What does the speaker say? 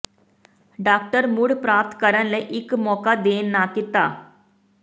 doctor ਮੁੜ ਪ੍ਰਾਪਤ ਕਰਨ ਲਈ ਇੱਕ ਮੌਕਾ ਦੇਣ ਨਾ ਕੀਤਾ